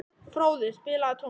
Fróði, spilaðu tónlist.